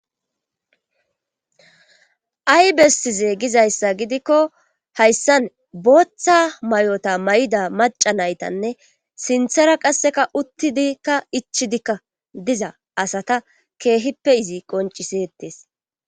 Ay bessi zeegizayssa gidikko hayssan booththa may7ota may7ida maca naytanne sinthera qasseka uttidikka ichidikka diza asata keehippe izi qoncisetees.